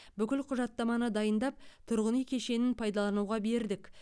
бүкіл құжаттаманы дайындап тұрғын үй кешенін пайдалануға бердік